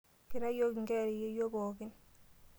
Kira yiiok inkera eyeyio pookin.